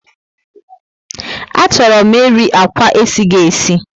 A chọrọ m eri akwa esighi esi